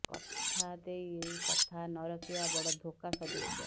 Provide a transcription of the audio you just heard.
କଥା ଦେଇ କଥା ନ ରଖିବା ବଡ଼ ଧୋକା ସଦୃଶ୍ୟ